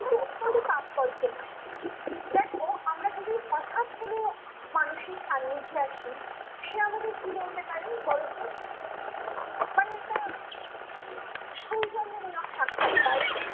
তাৎপর্য নয়, দেখো আমরা যদি হটাৎ কোনো মানুষের সান্নিধ্যে আসি সে আমাদের কি বলতে পারে বলতো মানে একটা সৌজন্যমূলক সাক্ষাৎ হয়